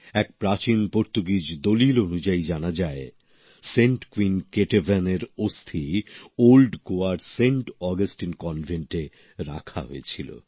এক প্রাচীন পর্তুগিজ দলিল অনুযায়ী জানা যায় সেন্ট কুইন কেটেভান এর অস্থি ওল্ড গোয়ার সেন্ট অগাস্টিন কনভেন্ট রাখা হয়েছিল